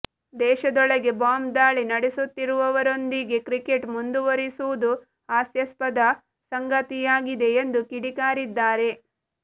ದೇಶದೊಳಗೆ ಬಾಂಬ್ ದಾಳಿ ನಡೆಸುತ್ತಿರುವವರೊಂದಿಗೆ ಕ್ರಿಕೆಟ್ ಮುಂದುವರಿಸುವುದು ಹಾಸ್ಯಾಸ್ಪದ ಸಂಗತಿಯಾಗಿದೆ ಎಂದು ಕಿಡಿಕಾರಿದ್ದಾರೆ